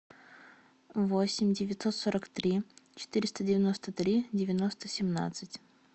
восемь девятьсот сорок три четыреста девяносто три девяносто семнадцать